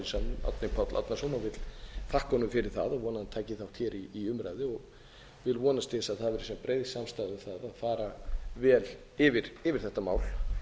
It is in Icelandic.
salnum árni páll árnason og vil þakka honum fyrir það og vona að hann taki þátt hér í umræðu og vil vonast til þess að það verði sem breiðust samstaða um að fara velyfir þetta mál